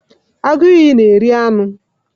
Agụ iyi na eri anụ.